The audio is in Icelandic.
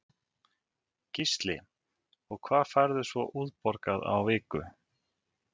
Gísli: Og hvað færðu svona útborgað á viku?